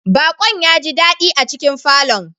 Bakon ya ji dadi a cikin falon.